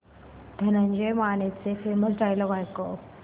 धनंजय मानेचे famous dialogue ऐकव